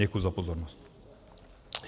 Děkuji za pozornost.